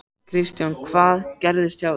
Kristján: Hvað gerðist hjá þér?